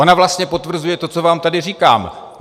Ona vlastně potvrzuje to, co vám tady říkám.